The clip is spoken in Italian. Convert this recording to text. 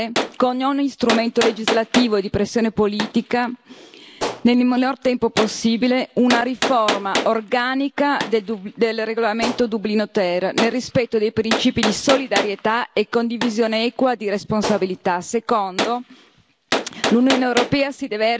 Primo, le istituzioni europee devono attivare con ogni strumento legislativo e di pressione politica nel minor tempo possibile una riforma organica del regolamento Dublino III nel rispetto dei principi di solidarietà e condivisione equa di responsabilità.